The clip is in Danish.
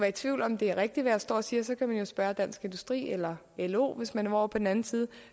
i tvivl om det er rigtigt hvad jeg står og siger så kan man jo spørge dansk industri eller lo hvis man vil over på den anden side